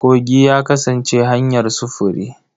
Kogi ya kasance hanyar sufuri.